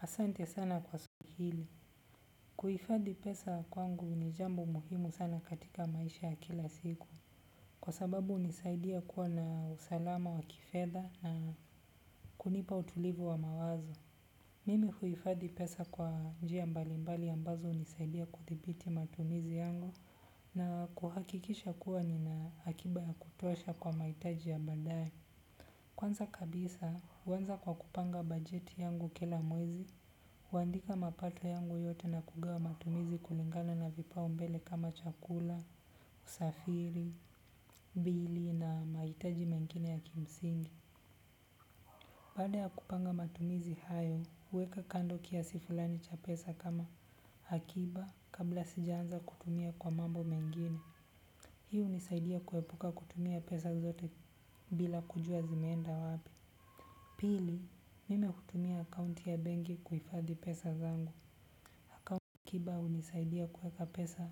Asante sana kwa swali hili. Kuhifadhi pesa kwangu ni jambo muhimu sana katika maisha ya kila siku. Kwa sababu hunisaidia kuwa na usalama wa kifedha na kunipa utulivu wa mawazo. Mimi huhifadhi pesa kwa njia mbalimbali ambazo hunisaidia kuthibiti matumizi yangu na kuhakikisha kuwa nina akiba ya kutosha kwa mahitaji ya baadaye. Kwanza kabisa, huanza kwa kupanga bajeti yangu kila mwezi, huandika mapato yangu yote na kugawa matumizi kulingana na vipaumbele kama chakula, usafiri, bili na mahitaji mengine ya kimsingi. Baada ya kupanga matumizi hayo, huweka kando kiasi fulani cha pesa kama akiba kabla sijaanza kutumia kwa mambo mengine. Hii hunisaidia kuepuka kutumia pesa zote bila kujua zimeenda wapi. Pili, mimi hutumia akaunti ya benki kuhifadhi pesa zangu. Akiba hunisaidia kuweka pesa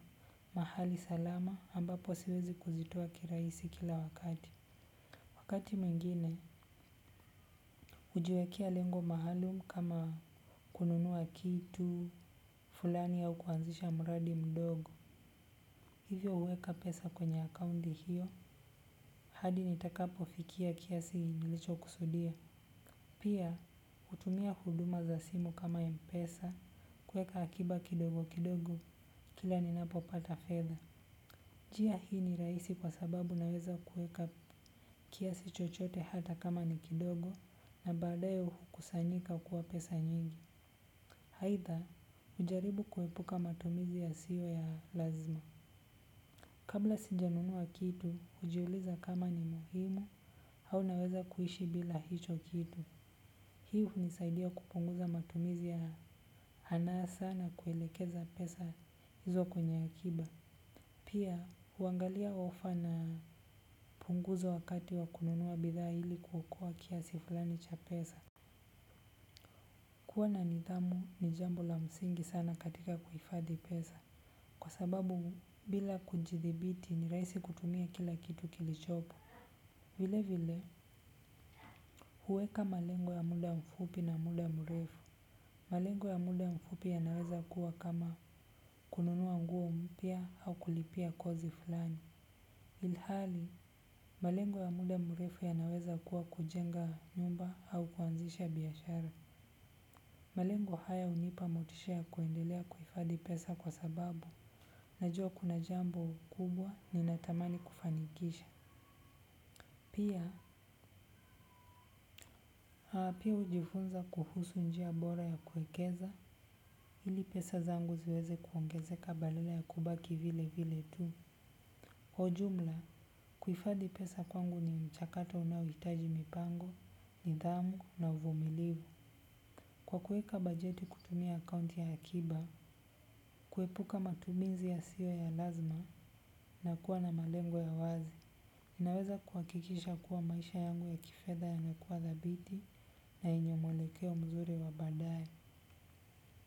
mahali salama ambapo siwezi kuzitoa kirahisi kila wakati. Wakati mwingine hujiwekea lengo maalumu kama kununua kitu fulani au kuanzisha mradi mdogo. Hivyo huweka pesa kwenye akaunti hiyo hadi nitakapofikia kiasi nilichokusudia. Pia, hutumia huduma za simu kama mpesa kuweka akiba kidogo kidogo kila ninapopata fedha. Njia hii ni rahisi kwa sababu naweza kuweka kiasi chochote hata kama ni kidogo na baadaye hukusanyika kuwa pesa nyingi. Aidha, hujaribu kuepuka matumizi yasiyo ya lazima. Kabla sijanunua kitu, hujiuliza kama ni muhimu au naweza kuishi bila hicho kitu. Hii hunisaidia kupunguza matumizi ya anasa na kuelekeza pesa hizo kwenye akiba. Pia huangalia ofa na punguzo wakati wa kununua bidhaa ili kuokoa kiasi fulani cha pesa. Kuwa na nidhamu ni jambo la msingi sana katika kuhifadhi pesa. Kwa sababu bila kujithibiti ni rahisi kutumia kila kitu kilichopo. Vilevile, huweka malengo ya muda mfupi na muda mrefu. Malengo ya muda mfupi yanaweza kuwa kama kununua nguo mpya au kulipia kozi fulani. Ilhali malengo ya muda mrefu yanaweza kuwa kujenga nyumba au kuanzisha biashara. Malengo haya hunipa motisha ya kuendelea kuhifadhi pesa kwa sababu najua kuna jambo kubwa ninatamani kufanikisha. Pia, pia hujifunza kuhusu njia bora ya kuwekeza ili pesa zangu ziweze kuongezeka badala ya kubaki vile vile tu. Kwa ujumla, kuhifadhi pesa kwangu ni mchakato unaohitaji mipango, nidhamu na uvumilivu. Kwa kuweka bajeti kutumia akaunti ya akiba, kuepuka matumizi yasiyo ya lazima na kuwa na malengo ya wazi naweza kuhakikisha kuwa maisha yangu ya kifedha yanakuwa thabiti na yenye mwelekeo mzuri wa baadaye.